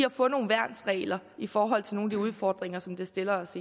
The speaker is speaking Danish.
at få nogle værnsregler i forhold til nogle af de udfordringer som det stiller os